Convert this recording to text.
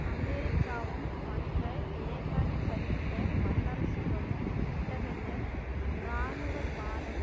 அமெரிக்காவும் மற்ற ஏகாதிபத்திய வல்லரசுகளும் இத்தகைய இராணுவவாதம்